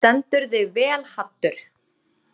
Þú stendur þig vel, Haddur!